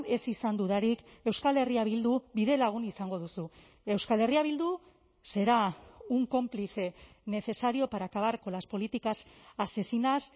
ez izan dudarik euskal herria bildu bidelagun izango duzu euskal herria bildu será un cómplice necesario para acabar con las políticas asesinas